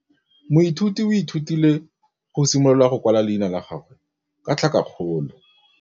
Moithuti o ithutile go simolola go kwala leina la gagwe ka tlhakakgolo.